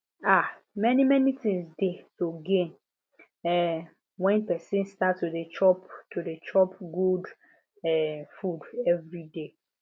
um many many things dey to gain um when person start to dey chop to dey chop good um food every day